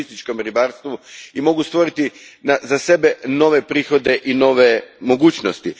turističkom ribarstvu i mogu stvoriti za sebe nove prihode i nove mogućnosti.